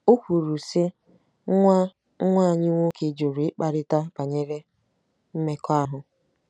O kwuru, sị: “Nwa “Nwa anyị nwoke jụrụ ịkparịta banyere mmekọahụ.